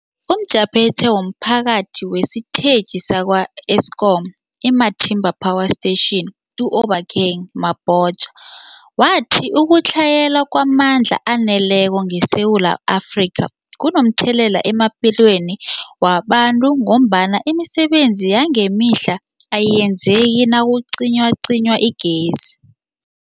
UmJaphethe womPhathi wesiTetjhi sakwa-Eskom i-Matimba Power Station u-Obakeng Mabotja wathi ukutlhayela kwamandla aneleko ngeSewula Afrika kunomthelela emaphilweni wabantu ngombana imisebenzi yangemihla ayenzeki nakucinywacinywa igezi.